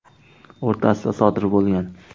o‘rtasida sodir bo‘lgan.